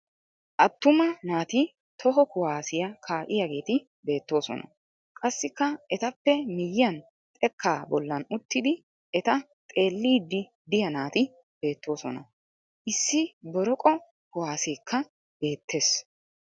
Attuma naati toho kuwaasiya kaa'iyageeti beettoosona. Qassikka etappe miyyiyan xekkaa bollan uttidi eta xeelliddi diya naati beettoosona. Issi boroqo kuwaaseekka beettes.